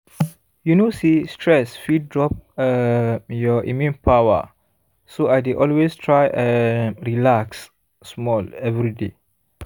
you know say stress fit drop um your immune power so i dey always try um relax small every day